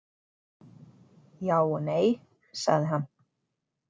Já og nei, sagði hann.